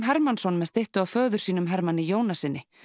Hermannsson með styttu af föður sínum Hermanni Jónassyni